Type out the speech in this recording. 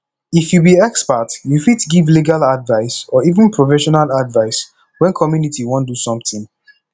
if you be expert you fit give legal advise or even professional advice when community wan do something